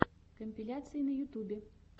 компиляции на ютубе